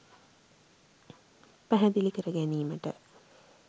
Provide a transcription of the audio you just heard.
පැහැදිලි කරගැනීමට